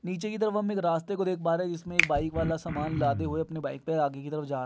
नीचे की तरफ हम एक रास्ते को देख पा रहे है जिसमें एक आदमी बाइक वाला सामान लादे हुए अपने बाइक पे आगे की तरफ जा --